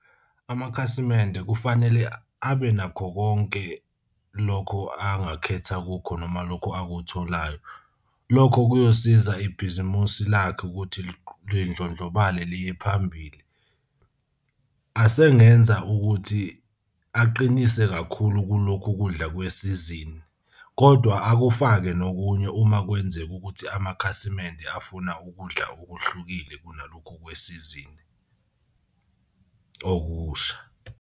Amakhasimende kufanele abe nakho konke lokho angakhetha kukho, noma lokho akutholayo. Lokho kuyosiza ibhizimusi lakhe ukuthi lidlondlobale liye phambili. Asengenza ukuthi aqinise kakhulu kulokhu kudla kwesizini kodwa akufake nokunye uma kwenzeka ukuthi amakhasimende afuna ukudla okuhlukile kunalokhu kwesizini okusha.